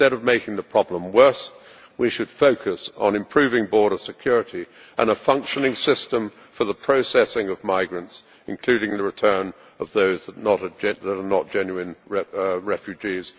Instead of making the problem worse we should focus on improving border security and a functioning system for the processing of migrants, including the return of those that are not genuine refugees.